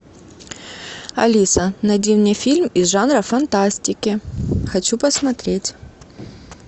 алиса найди мне фильм из жанра фантастики хочу посмотреть